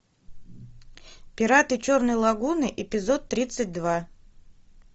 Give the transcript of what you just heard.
пираты черной лагуны эпизод тридцать два